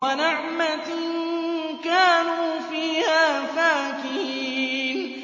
وَنَعْمَةٍ كَانُوا فِيهَا فَاكِهِينَ